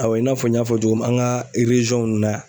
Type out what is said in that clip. Awɔ i n'a fɔ n y'a fɔ cogo min an ka na yan.